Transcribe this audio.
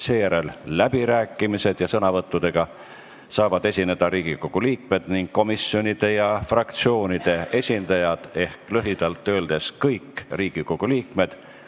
Seejärel on läbirääkimised ja sõnavõttudega saavad esineda Riigikogu liikmed ning komisjonide ja fraktsioonide esindajad ehk lühidalt öeldes kõik Riigikogu liikmed.